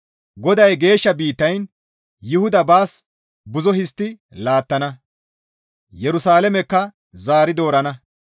GODAY geeshsha biittayn Yuhuda baas buzo histti laattana; Yerusalaamekka zaari doorana.